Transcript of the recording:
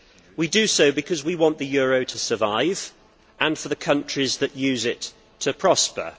We do so because we want the euro to survive and the countries that use it to prosper.